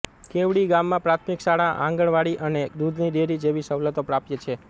કેવડી ગામમાં પ્રાથમિક શાળા આંગણવાડી અને દૂધની ડેરી જેવી સવલતો પ્રાપ્ય છે